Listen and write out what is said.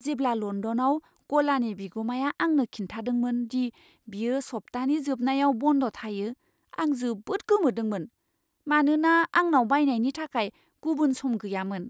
जेब्ला लण्डनाव गलानि बिगुमाया आंनो खिन्थादोंमोन दि बियो सप्तानि जोबनायाव बन्द थायो, आं जोबोद गोमोदोंमोन, मानोना आंनाव बायनायनि थाखाय गुबुन सम गैयामोन।